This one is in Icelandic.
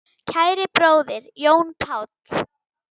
Kæri bróðir, Jón Páll.